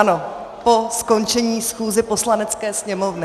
Ano, po skončení schůze Poslanecké sněmovny.